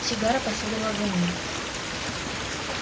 сигара последовала за ним